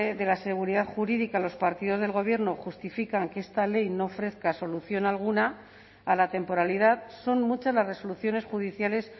de la seguridad jurídica los partidos del gobierno justifican que esta ley no ofrezca solución alguna a la temporalidad son muchas las resoluciones judiciales